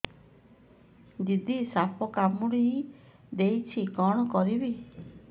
ଦିଦି ସାପ କାମୁଡି ଦେଇଛି କଣ କରିବି